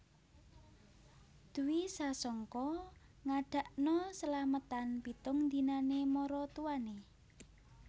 Dwi Sasongko ngadakno selametan pitung dinane maratuwane